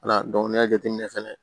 Ala dɔnku n'i y'a jateminɛ fɛnɛ